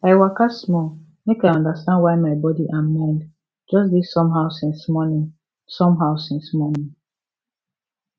i waka small make i understand why my body and mind just dey somehow since morning somehow since morning